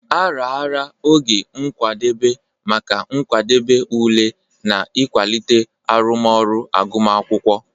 A raara oge nkwadebe maka nkwadebe ule na ịkwalite arụmọrụ agụmakwụkwọ.